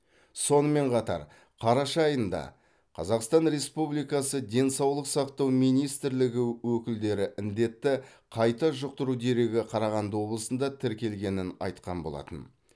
сонымен қатар қараша айында қазақстан республикасы денсаулық сақтау министрлігі өкілдері індетті қайта жұқтыру дерегі қарағанды облысында тіркелгенін айтқан болатын